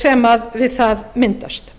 sem við það myndast